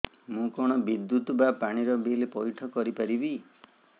ମୁ କଣ ବିଦ୍ୟୁତ ବା ପାଣି ର ବିଲ ପଇଠ କରି ପାରିବି